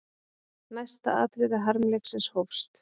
Næsta atriði harmleiksins hófst.